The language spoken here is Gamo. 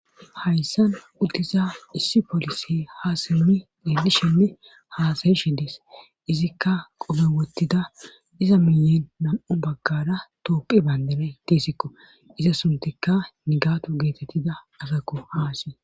Hayssan uddiza issi polisi haasemmi deelli shenne haasayi shedees izikka qome wottida iza miyen nam7u baggara toophi bayndane tiisikko iza suntikka nigatu geetettida asakko haasi